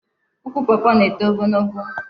Ukwu Pọọpọọ na-eto ogologo.